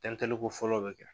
Tɛntɛliko fɔlɔ bɛ kɛ.